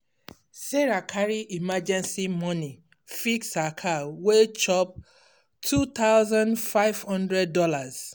sarah carry emergency money fix her car wey chop two thousand five hundred dollars.